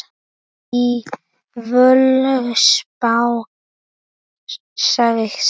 Í Völuspá segir